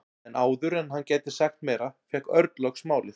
En áður en hann gæti sagt meira fékk Örn loks málið.